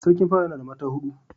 Sarkin pawa yana da mata hudu